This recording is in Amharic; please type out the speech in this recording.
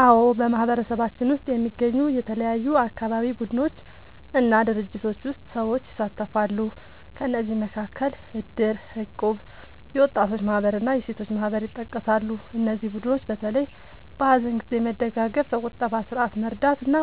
አዎ፣ በማህበረሰባችን ውስጥ የሚገኙ የተለያዩ አካባቢ ቡድኖች እና ድርጅቶች ውስጥ ሰዎች ይሳተፋሉ። ከእነዚህ መካከል እድር፣ እቁብ፣ የወጣቶች ማህበር እና የሴቶች ማህበር ይጠቀሳሉ። እነዚህ ቡድኖች በተለይ በሀዘን ጊዜ መደጋገፍ፣ በቁጠባ ስርዓት መርዳት እና